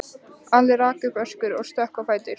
Alli rak upp öskur og stökk á fætur.